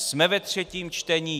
Jsme ve třetím čtení?